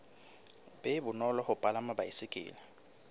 be bonolo ho palama baesekele